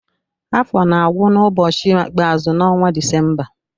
Afọ na-agwụ n’ụbọchị ikpeazụ n'ọnwa Disemba.